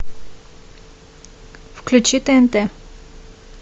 включи тнт